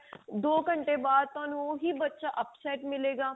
ਦੋ ਘੰਟੇ ਬਾਅਦ ਤੁਹਾਨੂੰ ਉਹੀ ਬੱਚਾ upset ਮਿਲੇਗਾ